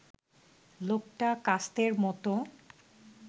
লোকটা কাস্তের মতো